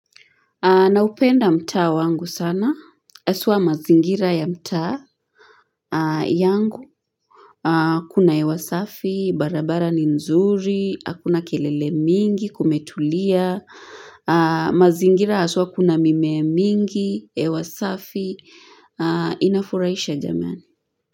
Naupenda mtaa wangu sana. Haswa mazingira ya mtaa yangu. Kuna hewa safi, barabara ni nzuri, hakuna kelele mingi, kumetulia. Mazingira haswa kuna mimea mingi, hewa safi. Inafuraisha jamani.